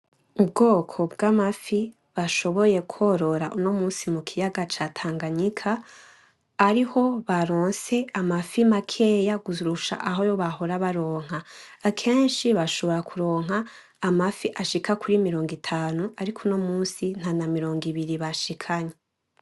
Ubwoko bw'amafi bashoboye korora mu kiyaga ca tanganyika, ariho baronse amafi makeya kurusha ayo bahora baronka . akenshi bashobora kuronka amafi ashika kuri mirongo itanu ariko uyu munsi nta na mirongo ibiri bashikanye